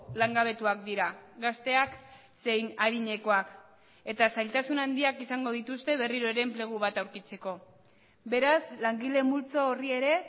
langabetuak dira gazteak zein adinekoak eta zailtasun handiak izango dituzte berriro ere enplegu bat aurkitzeko beraz langile multzo horri ere